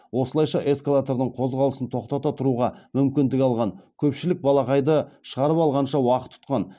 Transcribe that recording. осылайша эскалатордың қозғалысын тоқтата тұруға мүмкіндік алған көпшілік балақайды шығарып алғанша уақыт ұтқан